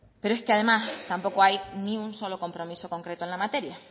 pero es que además tampoco hay ni un solo compromiso concreto en la materia